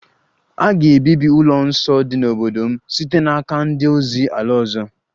A ga-ebibi ụlọ nsọ dị n'obodo m site n'aka ndị ozi ala ọzọ